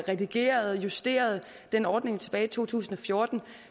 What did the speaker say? redigerede justerede den ordning tilbage i to tusind og fjorten